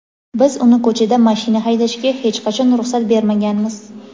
Biz uni ko‘chada mashina haydashiga hech qachon ruxsat bermaganmiz.